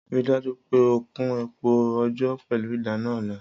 Rii daju pe o Kun epo ojò pẹlu idana ọla!